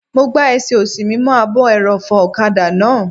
Mo gbá ẹsẹ̀ òsì mi mọ́ ààbò ẹrọ̀fọ̀ ọ̀kadà náà